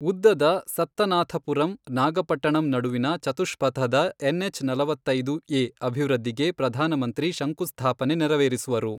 ಉದ್ದದ ಸತ್ತನಾಥಪುರಂ ನಾಗಪಟ್ಟಣಂ ನಡುವಿನ ಚತುಷ್ಪಥದ ಎನ್ಎಚ್ ನಲವತ್ತೈದು ಎ ಅಭಿವೃದ್ಧಿಗೆ ಪ್ರಧಾನಮಂತ್ರಿ ಶಂಕುಸ್ಥಾಪನೆ ನೆರವೇರಿಸುವರು.